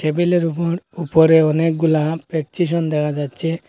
টেবিলের উপর উপরে অনেকগুলা প্রেচকিশন দেখা যাচ্ছে।